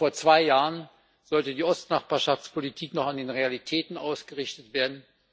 Vor zwei Jahren sollte die östliche Nachbarschaftspolitik noch an den Realitäten ausgerichtet werden.